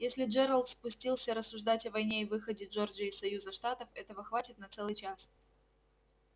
если джералд спустился рассуждать о войне и выходе джорджии из союза штатов этого хватит на целый час